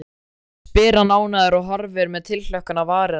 spyr hann ánægður og horfir með tilhlökkun á varir hennar.